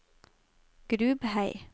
Grubhei